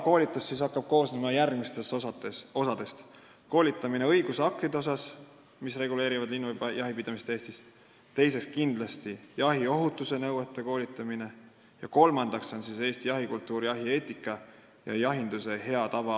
Koolitus hakkab koosnema järgmistest osadest: esiteks, õigusaktid, mis reguleerivad linnujahi pidamist Eestis, teiseks, jahiohutuse nõuded, kolmandaks, Eesti jahikultuur ja jahieetika ning jahinduse hea tava.